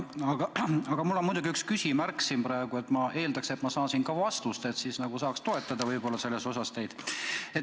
Aga mul on üks küsimus ja ma eeldan, et saan ka vastuse, võib-olla ma saan teid toetada.